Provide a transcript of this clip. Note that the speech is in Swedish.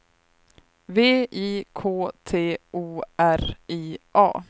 V I K T O R I A